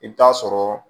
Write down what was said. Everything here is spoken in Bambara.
I bɛ taa sɔrɔ